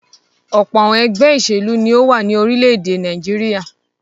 Ọ̀pọ̀ àwọn ẹgbẹ́ ìṣèlú ni ó wà ní orílẹ̀-èdè Nàìjíríà.